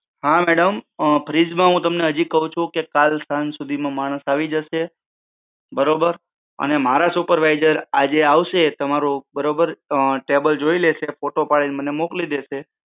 હા madam fridge માં હું તમને હાજી કહું છું કે કલ સાંજ સુધી માં માણસ આવી જશે. બરાબર અને મારા supervisor આજે આવશે બરાબર table જોઈ લેશે ને photo પડી ને મને મોકલી દેશે તમારી જ સામે